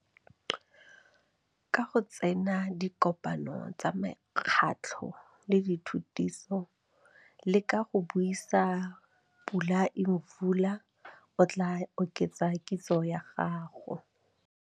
Ka go tsena dikopano tsa mekgatlho le dithutiso, le ka go buisa Pula Imvula, o tlaa oketsa kitso ya gago.